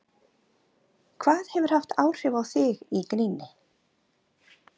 Hvað hefur haft áhrif á þig í gríni?